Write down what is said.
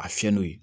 A fiyɛ n'o ye